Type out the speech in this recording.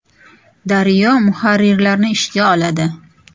“Daryo” muharrirlarni ishga oladi.